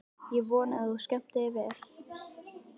Ég vona að þú skemmtir þér vel!